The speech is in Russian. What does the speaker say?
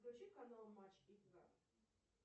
включи канал матч игра